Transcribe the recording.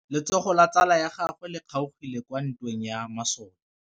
Letsôgô la tsala ya gagwe le kgaogile kwa ntweng ya masole.